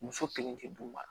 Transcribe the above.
Muso kelen tɛ d'u ma